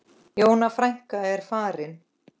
Jóna frænka er farin.